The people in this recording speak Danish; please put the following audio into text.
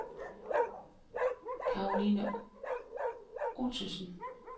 Caroline Ottosen